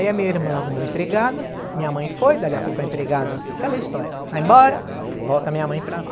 Aí a minha irmã arrumou empregada, minha mãe foi, dali a pouco a empregada, aquela história, vai embora, volta minha mãe para lá.